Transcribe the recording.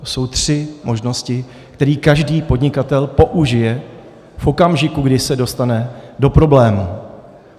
To jsou tři možnosti, které každý podnikatel použije v okamžiku, kdy se dostane do problémů.